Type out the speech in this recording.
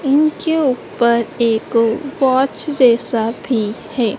इनके ऊपर एक वॉच जैसा भी है।